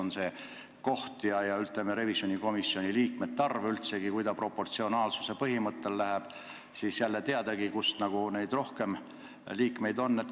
Ja mis puutub üldse revisjonikomisjoni koosseisu, siis kui see kujuneb proportsionaalsuse põhimõttel, siis teadagi, kelle esindajaid rohkem on.